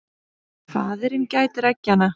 Faðirinn gætir eggjanna.